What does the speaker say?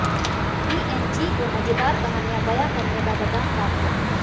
BNG को मजेदार कहानियां बयां करने का वरदान प्राप्त है